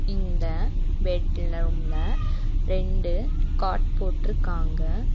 இந்த பெட் ரெண்டு காட் போட்டிருக்காங்க.